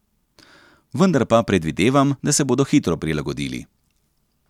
Vendar pa predvidevam, da se bodo hitro prilagodili.